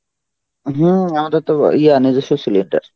হম আমাদের তো ইয়ে আনে gas এর cylinder.